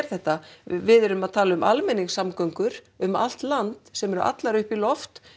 þetta við erum að tala um almenningssamgöngur um allt land sem eru allar komnar upp í loft